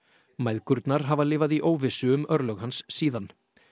mæðgurnar hafa lifað í óvissu um örlög hans síðan